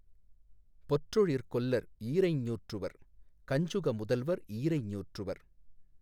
பொற்றொழிற் கொல்லர் ஈரைஞ் ஞூற்றுவர் கஞ்சுக முதல்வர் ஈரைஞ் ஞூற்றுவர்